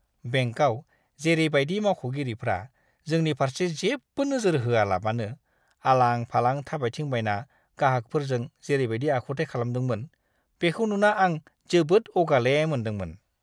बेंकआव जेरैबायदि मावख'गिरिफ्रा जोंनि फारसे जेबो नोजोर होआलाबानो आलां-फालां थाबायदिंबायना गाहागफोरजों जेरैबायदि आखुथाइ खालामदोंमोन, बिखौ नुना आं जोबोद अगाले मोनदोंमोन!